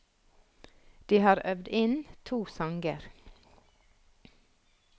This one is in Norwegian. De har øvd inn to sanger.